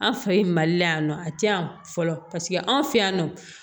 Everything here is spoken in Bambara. An fɛ yen mali la yan nɔ a tɛ yan fɔlɔ paseke an fɛ yan nɔ